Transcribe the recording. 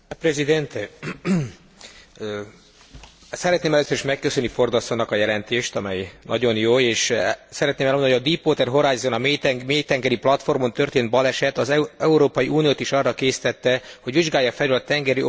Szeretném először is megköszönni Ford asszonynak a jelentést, amely nagyon jó, és szeretném elmondani, hogy a Deepwater Horizon, a mélytengeri platformon történt baleset az Európai Uniót is arra késztette, hogy vizsgálja felül a tengeri olaj és gázipari tevékenységek hatályos szabályozását.